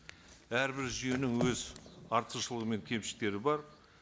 әрбір жүйенің өз артықшылығы мен кемшіліктері бар